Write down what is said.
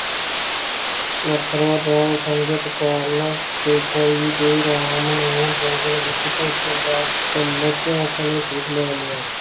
ਸੁਲੱਖਣਾ ਦਾ ਸੰਗਤ ਕਾਰਨ ਕੇਕਈ ਦੇ ਰਾਮ ਨਾਲ ਜੰਗਲ ਵਿਚ ਪਹੁੰਚਣ ਦਾ ਕਲੰਕ ਆਪਣੇ ਸਿਰ ਲੈ ਲਿਆ